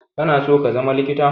Kana so ka zama likita?